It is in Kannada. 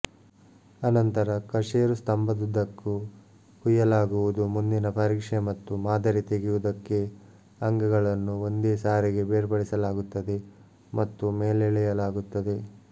ಅನಂತರ ಕಶೇರು ಸ್ತಂಭದುದ್ದಕ್ಕೂ ಕುಯ್ಯಲಾಗುವುದು ಮುಂದಿನ ಪರೀಕ್ಷೆ ಮತ್ತು ಮಾದರಿ ತೆಗೆಯುವುದಕ್ಕೆ ಅಂಗಗಳನ್ನು ಒಂದೇ ಸಾರಿಗೆ ಬೇರ್ಪಡಿಸಲಾಗುತ್ತದೆ ಮತ್ತು ಮೇಲೆಳೆಯಲಾಗುತ್ತದೆ